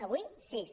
avui sis